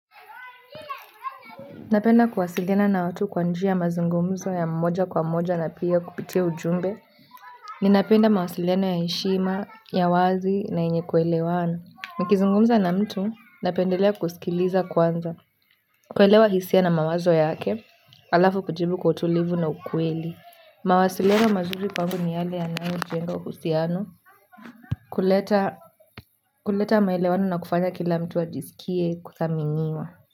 Napenda kuwasiliana na watu kwa njia mazungumzo ya mmoja kwa mmoja na pia kupitia ujumbe ninapenda mawasiliano ya heshima, ya wazi na yenye kuelewana. Nikizungumza na mtu, napendelea kusikiliza kwanza kuelewa hisia na mawazo yake alafu kujibu kwa utulivu na ukweli mawasiliano mazuri kwangu ni yale yanayo jenga uhusiano kuleta maelewano na kufanya kila mtu ajisikie kuthaminiwa.